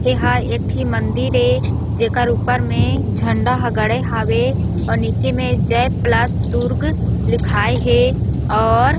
एहा एक ठी मंदिर ए जेकर ऊपर में झंडा ह गड़े हावय अउ नीचे में जय प्लस दुर्ग लिखाये हे और--